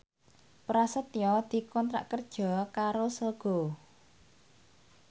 Prasetyo dikontrak kerja karo Sogo